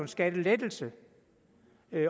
skattelettelse